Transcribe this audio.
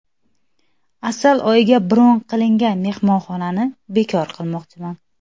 Asal oyiga bron qilingan mehmonxonani bekor qilmoqchiman”.